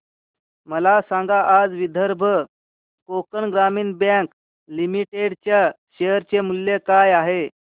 मला सांगा आज विदर्भ कोकण ग्रामीण बँक लिमिटेड च्या शेअर चे मूल्य काय आहे